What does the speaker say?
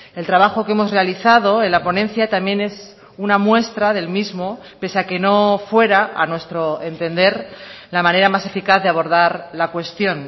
el trabajo que hemos realizado en la ponencia también es una muestra del mismo pese a que no fuera a nuestro entender la manera más eficaz de abordar la cuestión